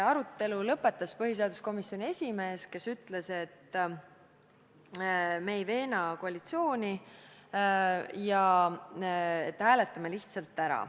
Arutelu lõpetas põhiseaduskomisjoni esimees, kes ütles, et me ei veena koalitsiooni ja hääletame lihtsalt ära.